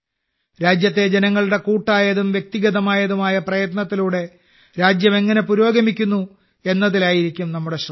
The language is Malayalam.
രാജ്യത്തെ ജനങ്ങളുടെ കൂട്ടായതും വ്യക്തിഗതമായതും ആയ പ്രയത്നത്തിലൂടെ രാജ്യം എങ്ങനെ പുരോഗമിക്കുന്നു എന്നതിലായിരിക്കും നമ്മുടെ ശ്രദ്ധ